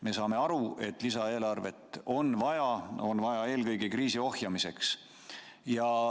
Me saame aru, et lisaeelarvet on vaja, seda on vaja eelkõige kriisi ohjamiseks.